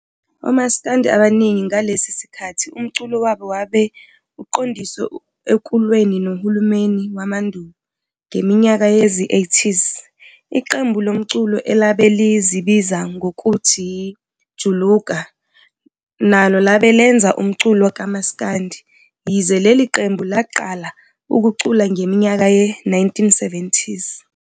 Omasikandi abaningi ngalesi sikhathi umculo wabo wabe uqondiswe ekulweni nohulumeni wobandululo. Ngeminyaka yezi-80s iqembu lomculo elabe lizibiza ngokuthi i-Juluka nalo labe lenza umculo kamasikandi, yize lei qembu laqala ukucula ngeminyaka ye-1970s.